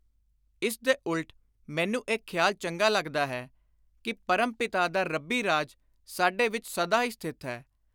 ਇਸ ਦੇ ਉਲਟ ਮੈਨੂੰ ਇਹ ਖ਼ਿਆਲ ਚੰਗਾ ਲੱਗਦਾ ਹੈ ਕਿ “ਪਰਮ ਪਿਤਾ ਦਾ ਰੱਬੀ ਰਾਜ ਸਾਡੇ ਵਿਚ ਸਦਾ ਹੀ ਸਥਿਤ ਹੈ।